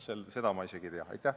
Seda ma ei tea.